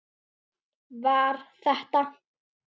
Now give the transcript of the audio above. Var þetta.?